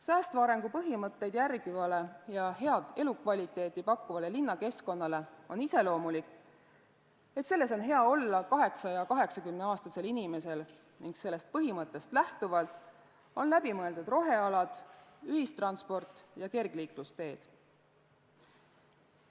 Säästva arengu põhimõtteid järgivale ja head elukvaliteeti pakkuvale linnakeskkonnale on iseloomulik, et selles on hea olla nii 8- kui ka 80-aastasel inimesel ning sellest põhimõttest lähtuvalt on läbi mõeldud rohealad, ühistransport ja kergliiklusteed.